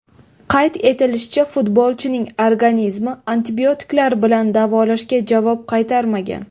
Qayd etilishicha, futbolchining organizmi antibiotiklar bilan davolashga javob qaytarmagan.